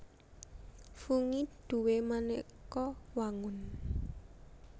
Fungi duwé manéka wangun